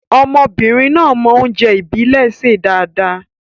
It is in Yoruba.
Ọmọbìnrin náà mọ oúnjẹ ìbílè ṣe dáadáa.